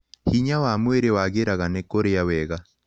Hinya wa mwĩrĩ wagĩraga nĩ kũrĩa wega